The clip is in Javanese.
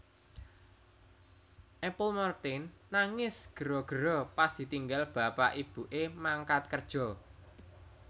Apple Martin nangis gero gero pas ditinggal bapak ibu e mangkat kerjo